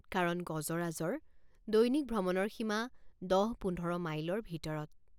কাৰণ গজৰাজৰ দৈনিক ভ্ৰমণৰ সীমা দহ পোন্ধৰ মাইলৰ ভিতৰত।